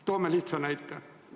Toome lihtsa näite.